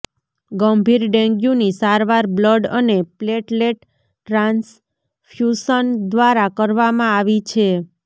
ગંભીર ડેન્ગ્યૂની સારવાર બ્લડ અને પ્લેટલેટ ટ્રાન્સફ્યૂશન દ્વારા કરવામાં આવી છે